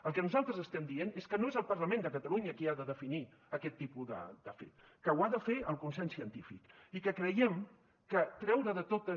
el que nosaltres estem dient és que no és el parlament de catalunya qui ha de definir aquest tipus de fet que ho ha de fer el consens científic i que creiem que treure de totes